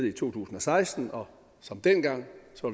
i to tusind og seksten og som dengang